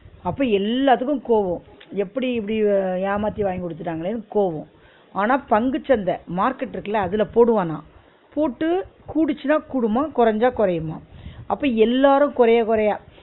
அப்ப எல்லாத்துக்கும் கோவோ எப்பிடி இப்பிடி ஏமாத்தி வாங்கி கொடுத்துட்டாங்களேனு கோவ ஆனா பங்குசந்த market இருக்குல அதுல போடுவே நா, போட்டு கூடுச்சினா கூடுமா குறச்சா குறையுமா அப்ப எல்லாரு குறய குறய